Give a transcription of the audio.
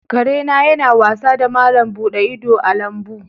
Kare na yana wasa da malam buɗe ido a lambu.